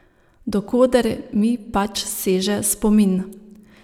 Do koder mi pač seže spomin.